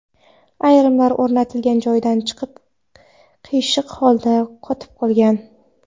Ayrimlari o‘rnatilgan joydan chiqib, qiyshiq holda qotib qolgan.